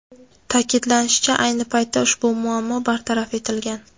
Ta’kidlanishicha, ayni paytda ushbu muammo bartaraf etilgan.